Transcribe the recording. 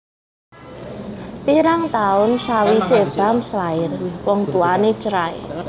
Pirang taun sawisé Bams lair wong tuwané cerai